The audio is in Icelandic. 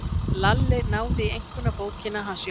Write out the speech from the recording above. Lalli náði í einkunnabókina hans Jóa.